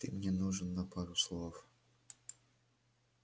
ты мне нужен на пару слов